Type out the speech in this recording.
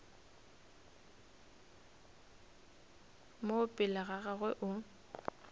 mo pele ga gagwe o